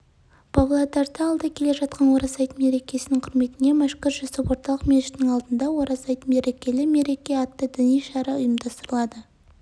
павлодарда алда келе жатқан ораза айт мерекесінің құрметіне мәшһүр жүсіп орталық мешітінің алдында ораза айт берекелі мереке атты діни шара ұйымдастырылады